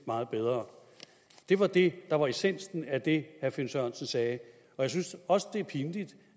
meget bedre det var det der var essensen af det herre finn sørensen sagde jeg synes også det er pinligt